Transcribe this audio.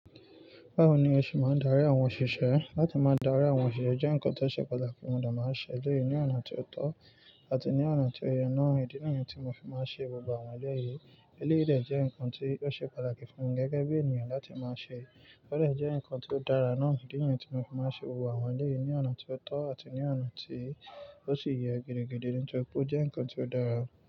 Báwo ni o ṣe máa ń darí àwọn òṣìṣẹ́? Látí máa darí àwọn òṣìṣẹ́ jẹ́ nǹkan tó ṣe pàtàkì, mo de máa ń ṣe eleyi ní ọ̀nà tí ó tọ́ àti ní ọ̀nà tí ó yẹ. Ìdí nìyi tí mo fi máa ń ṣe gbogbo àwọn ọ̀jo yìí. Eléyìí de jẹ́ nǹkan tí ó ṣe pàtàkì fún mi gẹ́gẹ́ bí ènìyàn láti máa ṣe. Ó dẹ̀ jẹ́ nǹkan tí ó dára náà ìdí nìyi tí mo fi máa ń ṣe gbogbo àwọn eleyìí ní ọ̀nà tí ó tọ́ àti ní ọ̀nà tí ó sì yẹ. Gẹ́gẹ́ bíi nǹkan tí ó kú pọ̀ jẹ́ nǹkan tí ó dára.